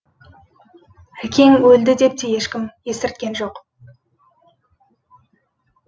әкең өлді деп те ешкім естірткен жоқ